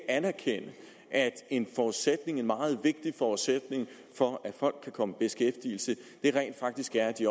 anerkende at en meget vigtig forudsætning for at folk kan komme i beskæftigelse rent faktisk er at de